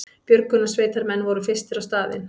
Björgunarsveitarmenn voru fyrstir á staðinn